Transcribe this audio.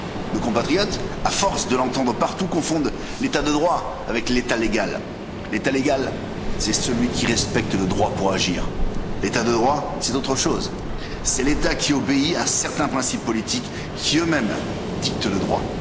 Nos compatriotes, à force de l'entendre partout, confondent l'État de droit avec l'État légal l'État légal, c'est celui qui respecte le droit pour agir, l'État de droit, c'est autre chose c'est l'État qui obéit à certains principes politiques qui eux mêmes dictent le droit.